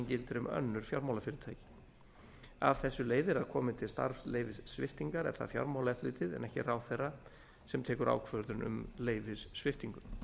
gildir um önnur fjármálafyrirtæki af þessu leiðir að komi til starfsleyfissviptingar er það fjármálaeftirlitið en ekki ráðherra sem tekur ákvörðun um leyfissviptingu